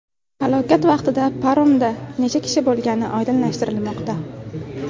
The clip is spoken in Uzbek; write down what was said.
Halokat vaqtida paromda necha kishi bo‘lgani oydinlashtirilmoqda.